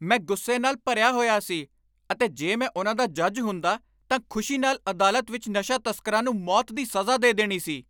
ਮੈਂ ਗੁੱਸੇ ਨਾਲ ਭਰਿਆ ਹੋਇਆ ਸੀ ਅਤੇ ਜੇ ਮੈਂ ਉਨ੍ਹਾਂ ਦਾ ਜੱਜ ਹੁੰਦਾ ਤਾਂ ਖ਼ੁਸ਼ੀ ਨਾਲ ਅਦਾਲਤ ਵਿੱਚ ਨਸ਼ਾ ਤਸਕਰਾਂ ਨੂੰ ਮੌਤ ਦੀ ਸਜ਼ਾ ਦੇ ਦੇਣੀ ਸੀ।